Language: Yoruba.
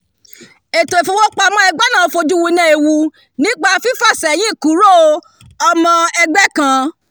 ètò ìfowópamọ́ ẹgbẹ́ náà fojú winá ewu nípa fífàsẹ́yìn-kúrò ọmọ ẹgbẹ́ kan